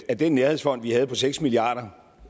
at den nærhedsfond vi havde finansieret på seks milliard